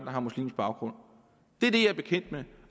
har muslimsk baggrund det er det jeg er bekendt med